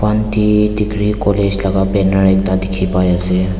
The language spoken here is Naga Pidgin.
avanti degree college laka banner ekta dikhipaiase.